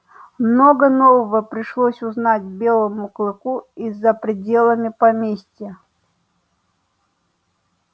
много нового пришлось узнать белому клыку и за пределами поместья